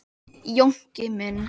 Jónki minn.